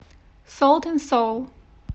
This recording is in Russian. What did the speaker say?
солт энд соул